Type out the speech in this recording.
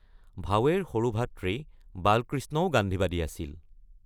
ভাৱেৰ সৰু ভাতৃ বালকৃষ্ণও গান্ধীবাদী আছিল।